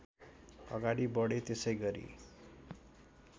अगाडि बढे त्यसैगरी